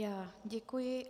Já děkuji.